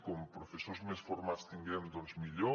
com professors més formats tinguem doncs millor